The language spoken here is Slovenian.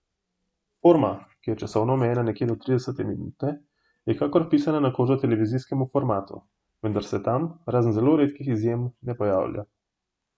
Forma, ki je časovno omejena nekje do trideset minut je kakor pisana na kožo televizijskemu formatu, vendar se tam, razen zelo redkih izjem, na pojavlja.